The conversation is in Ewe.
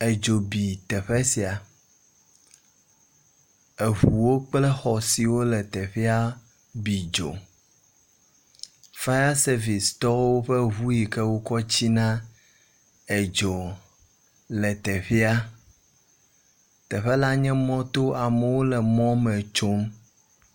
Edzo bi teƒe sia. Eŋuwo kple xɔ siwo le teƒea bi dzo. Fire sevice tɔwo ƒe ŋu yi ke wokɔ tsina edzo le teƒea. Teƒe la nye mɔto amewo le mɔ me tsom.